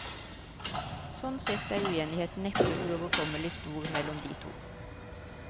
Sånn sett er uenigheten neppe uoverkommelig stor mellom de to.